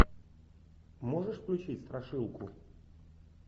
можешь включить страшилку